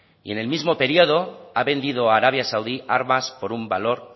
y en el mismo periodo ha vendido a arabia saudí armas por un valor